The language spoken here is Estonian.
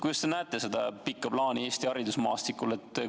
Kuidas te näete seda pikka plaani Eesti haridusmaastikul?